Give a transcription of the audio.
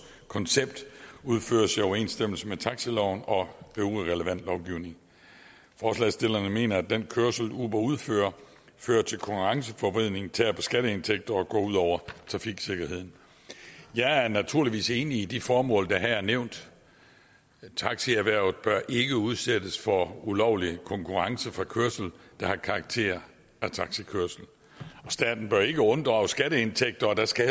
koncept udføres i overensstemmelse med taxiloven og øvrig relevant lovgivning forslagsstillerne mener at den kørsel uber udfører fører til konkurrenceforvridning tærer på skatteindtægter og går ud over trafiksikkerheden jeg er naturligvis enig i de formål der her er nævnt taxierhvervet bør ikke udsættes for ulovlig konkurrence fra kørsel der har karakter af taxikørsel og staten bør ikke unddrages skatteindtægter og der skal